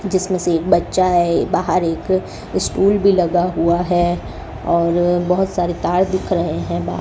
जिसमें से एक बच्चा है बाहर एक स्टूल भी लगा हुआ है और बहुत सारे तार दिख रहे हैं बा --